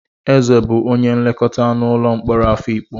Eze bụ onye nlekọta n'ụlọ mkpọrọ Afikpo.